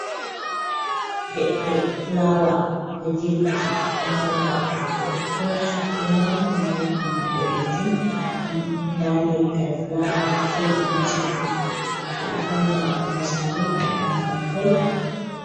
Leɗɗe fulaawa ɗo jirfiti, ɗo mari haako ɓokko-ɓokko, sukkinga, ɗo mari pindi boɗejum, ɗon ndaa leggal fulaawa towɗum, juuɗɗum, ɓe ɗo fawna ha ɓandu saare ha ɓandu mahol.